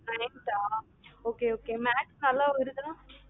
nineth ah okay okay maths நல்ல வருதா?